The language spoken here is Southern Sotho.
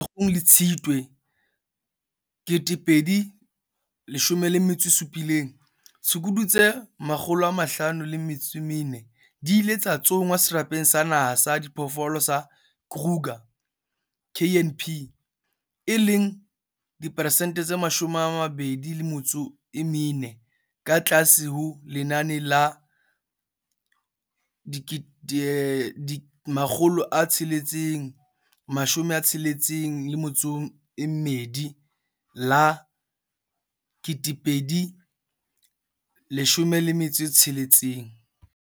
Pakeng tsa Pherekgong le Tshitwe 2017, ditshukudu tse 504 di ile tsa tsongwa Serapeng sa Naha sa Diphoofolo sa Kruger, KNP, e leng diperesente tse 24 ka tlase ho lenane la 662 la 2016.